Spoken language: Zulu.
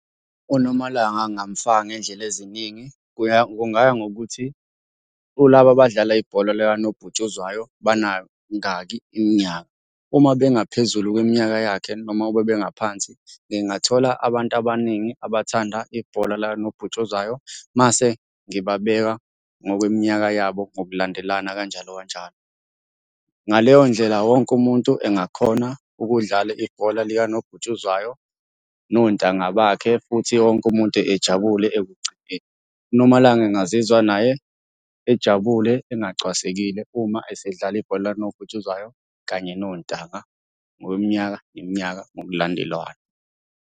UNomalanga ngingamfaka ngey'ndlela eziningi kungaya ngokuthi kulaba abadlala ibhola likanobhutshuzwayo banangaki iminyaka. Uma bengaphezulu kweminyaka yakhe noma ukube bengaphansi, ngingathola abantu abaningi abathanda ibhola lakanobhutshuzwayo mase ngibabeka ngokweminyaka yabo ngokulandelana kanjalo kanjalo. Ngaleyo ndlela wonke umuntu engakhona ukudlala ibhola likanobhutshuzwayo nontanga bakhe, futhi wonke umuntu ejabule ekugcineni. UNomalanga engazizwa naye ejabule engacwasekile uma esedlala ibhola likanobhutshuzwayo kanye nontanga, ngokweminyaka neminyaka ngokulandelwana.